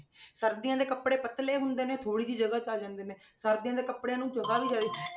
ਸਰਦੀਆਂ ਦੇ ਕੱਪੜੇ ਪਤਲੇ ਹੁੰਦੇ ਨੇ ਥੋੜ੍ਹੀ ਜਿਹੀ ਜਗ੍ਹਾ 'ਚ ਆ ਜਾਂਦੇ ਨੇ ਸਰਦੀਆਂ ਦੇ ਕੱਪੜਿਆਂ ਨੂੰ ਜਗ੍ਹਾ ਵੀ